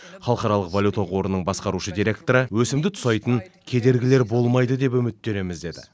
халықаралық валюта қорының басқарушы директоры өсімді тұсайтын кедергілер болмайды деп үміттенеміз деді